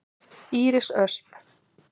Íris Ösp.